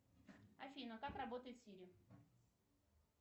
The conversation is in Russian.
афина как работает сири